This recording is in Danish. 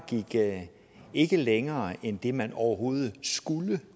ikke gik længere end det man overhovedet skulle